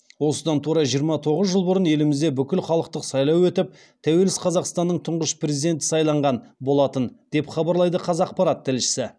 осыдан тура жиырма тоғыз жыл бұрын елімізде бүкіл халықтық сайлау өтіп тәуелсіз қазақстанның тұңғыш президенті сайланған болатын деп хабарлайды қазақпарат тілшісі